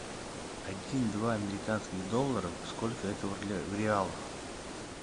один два американских долларов сколько это в реалах